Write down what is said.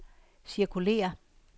cirkulér